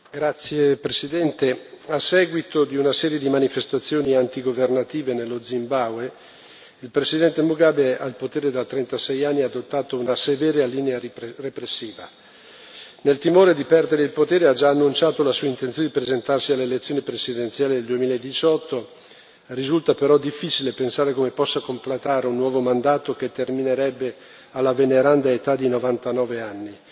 Signor Presidente, onorevoli colleghi, a seguito di una serie di manifestazioni antigovernative nello Zimbabwe, il presidente Mugabe, al potere da 36 anni, ha adottato una severa linea repressiva. Nel timore di perdere il potere, ha già annunciato la sua intenzione di presentarsi alle elezioni presidenziali del 2018 risulta però difficile pensare come possa completare un nuovo mandato, che terminerebbe alla veneranda età di 99 anni.